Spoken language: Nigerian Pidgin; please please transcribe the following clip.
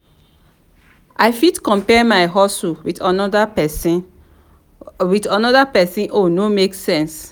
i fit compare my hustle with anoda pesin with anoda pesin own no make sense.